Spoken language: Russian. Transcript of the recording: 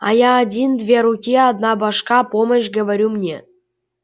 а я один две руки одна башка помощь говорю мне